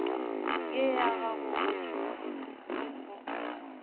ye ya gago go thwego